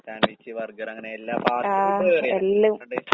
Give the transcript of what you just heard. sandwich, ബർഗറങ്ങനെ എല്ലാം fast food